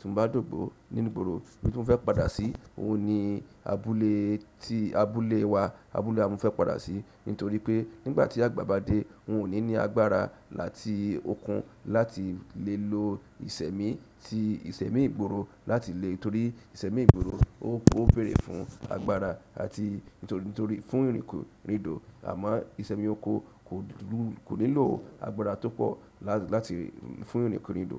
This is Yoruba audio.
tí mo bá dògbó nínú ìgboro, ibi tí mo fẹ́ padà sí, òhun ni abúlé tí abúlé wa, abúlé wa n mo fẹ́ padà sí nítorí pé nígbà tí àgbà bá dé, un ò ní ní agbára àti okun láti le lo. Ìṣẹ̀mí tí ìṣẹ̀mí ìgboro láti lè torí ìṣẹ̀mí ìgboro ó bèrè fún agbára àti nítorí fún ìrìnkòrin ìdò, àmọ́ ìṣẹ̀mí oko kò lè lò agbára tó pọ̀ láti fún ìrìnkòrin ìdò.